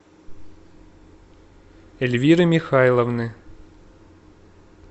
эльвиры михайловны